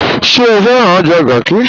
Ṣẹ̀ o fẹ̀ràn ọjà Garki?